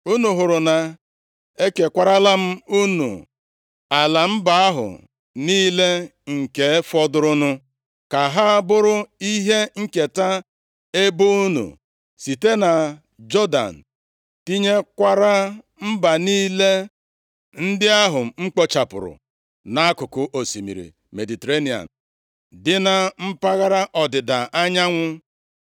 Unu hụrụ na ekekwarala m unu ala mba ahụ niile nke fọdụrụnụ ka ha bụrụ ihe nketa ebo unu, site na Jọdan, tinyekwara mba niile ndị ahụ m kpochapụrụ nʼakụkụ osimiri Mediterenịa dị na mpaghara ọdịda anyanwụ.